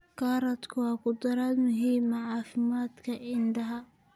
Karootadu waa khudrad muhiim u ah caafimaadka indhaha.